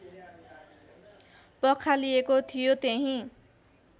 पखालिएको थियो त्यहीँ